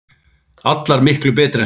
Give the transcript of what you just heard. Allar miklu betri en síðast!